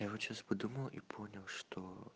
я вот сейчас подумал и понял что